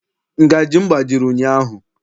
Ngajị m gbajiri ụnyaahụ.